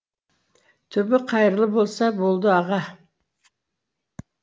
түбі қайырлы болса болды аға